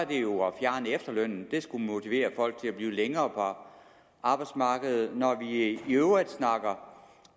det jo at fjerne efterlønnen det skulle motivere folk til at blive længere på arbejdsmarkedet når vi i øvrigt snakker